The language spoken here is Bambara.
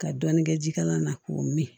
Ka dɔɔnin kɛ jikalan na k'o min